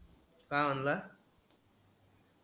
का म्हणला?